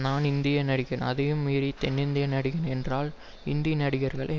நான் இந்திய நடிகன் அதையும் மீறி தென்னிந்திய நடிகன் என்றால் இந்தி நடிகர்களை